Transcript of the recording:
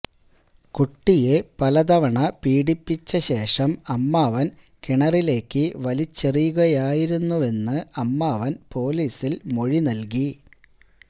കുട്ടിയെ പലതവണ പീഡിപ്പിച്ച ശേഷം അമ്മാവൻ കിണറിലേക്ക് വലിച്ചെറിയുകയായിരുന്നുവെന്ന് അമ്മാവൻ പോലീസിൽ മൊഴി നൽകി